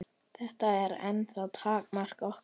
Það er ennþá takmark okkar.